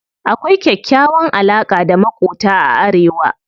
Akwai kyakkyawan alaƙa da maƙota a arewa.